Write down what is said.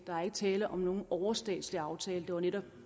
der er ikke tale om nogen overstatslig aftale det var netop